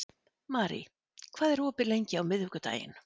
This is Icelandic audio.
Marie, hvað er opið lengi á miðvikudaginn?